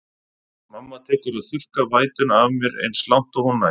Mamma tekur að þurrka vætuna af mér eins langt og hún nær.